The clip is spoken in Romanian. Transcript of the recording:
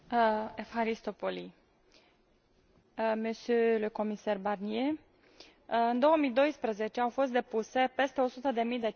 În 2012 au fost depuse peste 100 de mii de cereri de înregistrare de marcă comunitară, dublu față de cele depuse cu 10 ani în urmă.